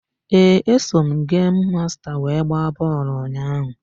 Ee, eso m gemu masta wee gbaa bọọlụ ụnyaahụ.